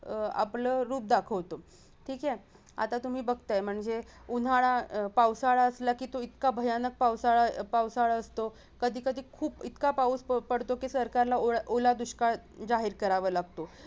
अह आपले रूप दाखवतो ठीक आहे आता तुम्ही बघताय म्हणजे उन्हाळा अं पावसाळा असला की तो इतका भयानक पावसाळा पावसाळा असतो कधीकधी खूप इतका पाऊस पडतो की सरकारला ओला दुष्काळ जाहीर करावा लागतो